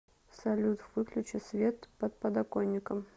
салют выключи свет под подоконником